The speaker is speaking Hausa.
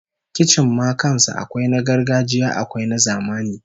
Kicin ma kan sa akwai na gargajiya akwai na zamani